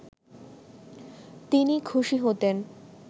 তিনি খুশি হতেন